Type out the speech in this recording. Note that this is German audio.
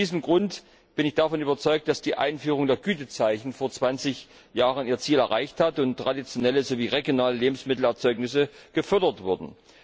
Aus diesem Grund bin ich davon überzeugt, dass die Einführung der Gütezeichen vor zwanzig Jahren ihr Ziel erreicht hat und traditionelle sowie regionale Lebensmittelerzeugnisse gefördert wurden.